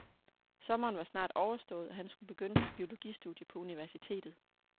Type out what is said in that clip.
Sommeren var snart overstået, og han skulle begynde sit biologistudie på universitetet.